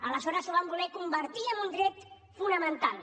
aleshores ho van voler convertir en un dret fonamental